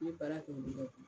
N ye baarakɛ olu bɛɛ bolo